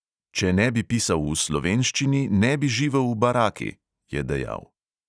"Če ne bi pisal v slovenščini, ne bi živel v baraki," je dejal.